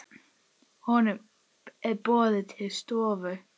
Honum er boðið til stofu.